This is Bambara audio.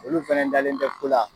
Olu fɛnɛ dalen tɛ ko la